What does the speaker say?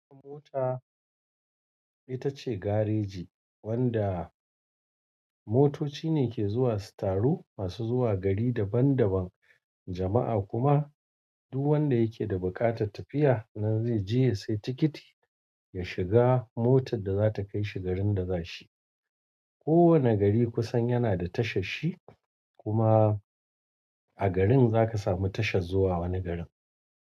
Mota itace gareji wanda motoci ne ke zuwa su taru maxu zuwa gari daban daban. Jama'a kuma duk wanda yake da buƙatar tafiya nan zai je ya sayi tikiti, ya shiga motar da zata kai shi garin da za shi. Kowane gari kusan yana da tashar shi kuma a garin zaka samu tashar zuwa wani garin.